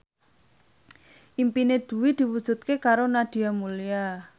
impine Dwi diwujudke karo Nadia Mulya